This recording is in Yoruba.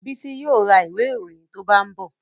Bísí yóò ra ìwé ìròyìn tó bá ń bọ̀